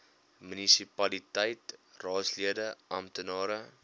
munisipaliteit raadslede amptenare